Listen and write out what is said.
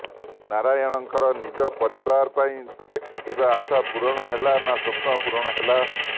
ନାରାୟଣଙ୍କର ନିଜ ପରିବାର ପାଇଁ ଦେଖିଥିବା ଆଶା ପୂରଣ ହେଲା ନା ସ୍ବପ୍ନ ପୂରଣ ହେଲା